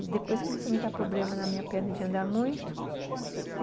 E depois começou a me dar problema na minha perna de andar muito.